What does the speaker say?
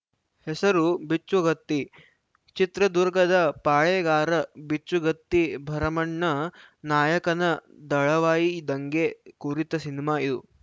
ಹೆಸರು ಬಿಚ್ಚುಗತ್ತಿ ಚಿತ್ರದುರ್ಗದ ಪಾಳೇಗಾರ ಬಿಚ್ಚುಗತ್ತಿ ಭರಮಣ್ಣ ನಾಯಕನ ದಳವಾಯಿ ದಂಗೆ ಕುರಿತ ಸಿನಿಮಾ ಇದು